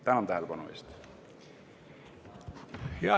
Tänan tähelepanu eest!